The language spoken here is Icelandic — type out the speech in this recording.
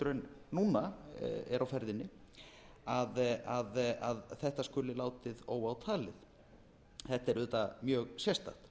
en núna eru á ferðinni að þetta skuli látið óátalið þetta er auðvitað mjög sérstakt